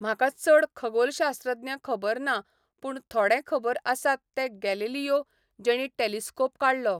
म्हाका चड खगोलशास्त्रज्ञ खबर ना पूण थोडें खबर आसात ते गॅलिलियो जेणी टॅलिस्कोप काडलो.